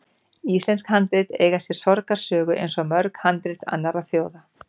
Íslensk handrit eiga sér sorgarsögu, eins og mörg handrit annarra þjóða.